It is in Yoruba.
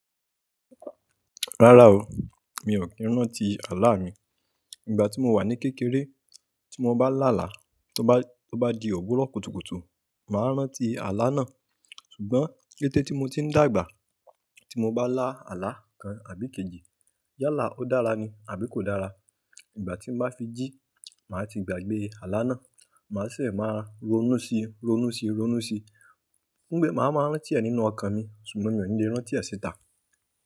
Rárá o, mi ò kí ń rántí àlá mi. Ìgbà tí mo wà ní kékeré, tí mo bá là làá, tó bá, tó bá di òwurò kùtùkùtù, màá rántí àlá náà. Ṣùgbọ́n kété tí mo ti ń dàgbà, tí mo bá lá àlá kan àbí ikejì, yálà ó dára ni àbí kò dára, ìgbà tí n bá fi jí, màá ti gbàgbé àlá náà, màá sese máa ronú síi, ronú síi, ronú síi. Pé màá ma rántí ẹ nínú ọkàn mi ṣùgbọ́n mi ò ní lè rántí ẹ síta.